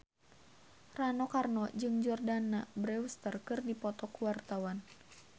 Rano Karno jeung Jordana Brewster keur dipoto ku wartawan